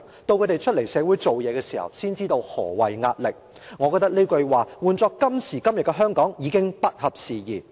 到他們出來社會工作時，才知道何謂壓力'，我覺得這句話換作今時今日的香港已不合時宜。